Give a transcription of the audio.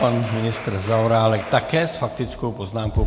Pan ministr Zaorálek také s faktickou poznámkou.